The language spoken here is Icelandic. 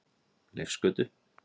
Leifsgötu